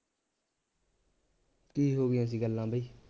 ਕੀ ਹੋ ਗਈਆਂ ਸੀ ਗੱਲਾਂ ਬਈ